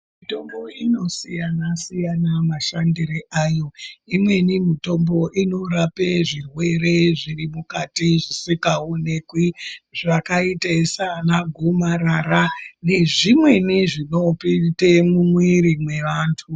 Mutombo inosiyana siyana mashandire ayo imweni mitombo inorape zvirwere zviri mukati zvisikaonekwi zvakaite saana gomarara nezvimweni zvinopinde mumwiri mwevantu.